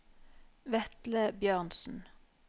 Vetle Bjørnsen